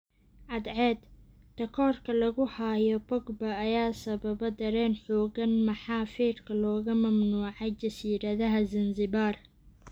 (Cadceed) Takoorka lagu hayo Pogba ayaa sababa dareen xoogan maxaa feerka looga mamnuucay jasiiradaha Zanzibar?